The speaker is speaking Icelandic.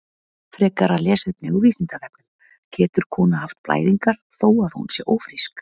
Frekara lesefni á Vísindavefnum: Getur kona haft blæðingar þó að hún sé ófrísk?